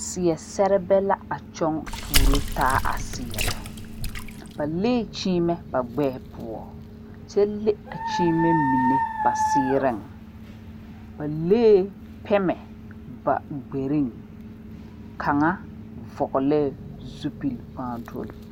Saɛ saɛba la a nyoŋ turo taa a saɛra ba leŋ kyimɛ ba gbeɛ poɔ ,kyɛ leŋ a kyimɛ mine ba siire, ba leŋ la pegme gbare kaŋa vɔglee zupele kpaatoli .